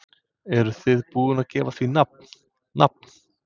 Eruð þið búin að gefa því nafn, nafn?